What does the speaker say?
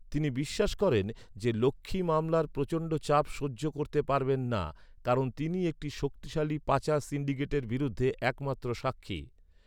তিনি বিশ্বাস করেন যে লক্ষ্মী মামলার প্রচণ্ড চাপ সহ্য করতে পারবেন না, কারণ তিনি একটি শক্তিশালী পাচার সিন্ডিকেটের বিরুদ্ধে একমাত্র সাক্ষী।